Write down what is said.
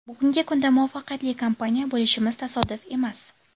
Bugungi kunda muvaffaqiyatli kompaniya bo‘lishimiz tasodif emas.